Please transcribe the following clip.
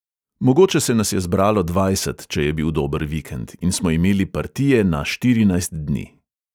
"Mogoče se nas je zbralo dvajset, če je bil dober vikend, in smo imeli partije na štirinajst dni."